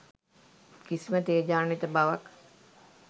කිසියම් තේජාන්විත බවක්